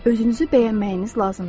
Özünüzü bəyənməyiniz lazımdır.